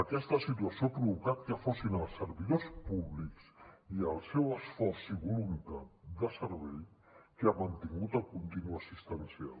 aquesta situació ha provocat que fossin els servidors públics i el seu esforç i voluntat de servei qui ha mantingut el continu assistencial